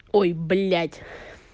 ой блядь